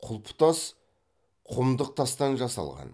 құлпытас құмдық тастан жасалған